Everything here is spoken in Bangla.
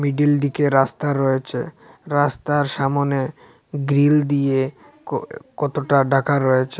রাস্তা রয়েছে রাস্তার সামনে গ্রিল দিয়ে কয় কতটা ঢাকা রয়েছে।